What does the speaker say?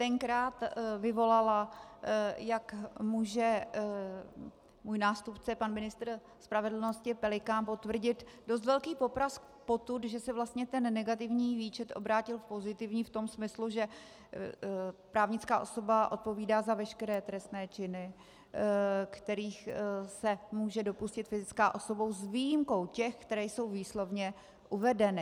Tenkrát vyvolala, jak může můj nástupce, pan ministr spravedlnosti Pelikán, potvrdit, dost velký poprask potud, že se vlastně ten negativní výčet obrátil v pozitivní v tom smyslu, že právnická osoba odpovídá za veškeré trestné činy, kterých se může dopustit fyzická osoba, s výjimkou těch, které jsou výslovně uvedeny.